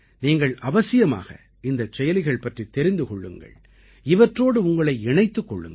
நீங்கள் அவசியமாக இந்தச் செயலிகள் பற்றித் தெரிந்து கொள்ளுங்கள் இவற்றோடு உங்களை இணைத்துக் கொள்ளுங்கள்